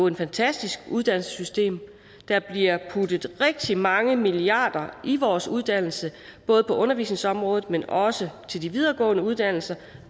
et fantastisk uddannelsessystem der bliver puttet rigtig mange milliarder i vores uddannelse både på undervisningsområdet men også til de videregående uddannelser